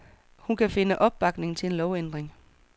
Hun kan finde opbakning til en lovændring.